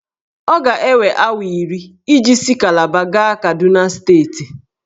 Ọ ga-ewe awa iri iji si Kalaba gaa Kaduna steeti.